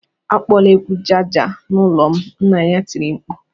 "Akpọla egwu Jaga Jaga n'ụlọ m!" Nna ya tiri mkpu